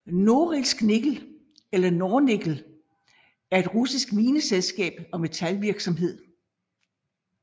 Norilsk Nickel eller Nornickel er et russisk mineselskab og metalvirksomhed